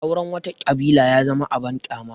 Auren wata ƙabilar ya zama abin ƙyama